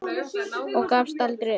Og gafst aldrei upp.